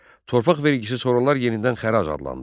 Torpaq vergisi sonralar yenidən xərac adlandı.